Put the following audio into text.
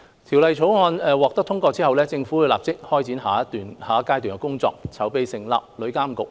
《條例草案》獲得通過後，政府會立即展開下一階段的工作，籌備成立旅監局。